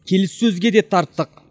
келіссөзге де тарттық